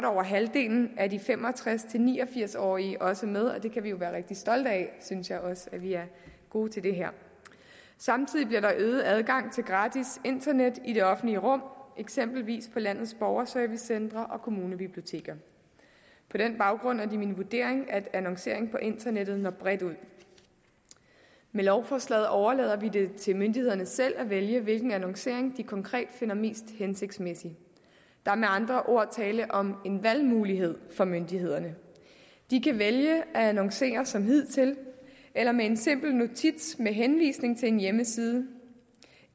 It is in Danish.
over halvdelen af de fem og tres til ni og firs årige også med og det kan vi jo være rigtig stolte af synes jeg også at vi er gode til det her samtidig bliver der øget adgang til gratis internet i det offentlige rum eksempelvis på landets borgerservicecentre og kommunebiblioteker på den baggrund er det min vurdering at annoncering på internettet når bredt ud med lovforslaget overlader vi det til myndighederne selv at vælge hvilken annoncering de konkret finder mest hensigtsmæssig der er med andre ord tale om en valgmulighed for myndighederne de kan vælge at annoncere som hidtil eller med en simpel notits med henvisning til en hjemmeside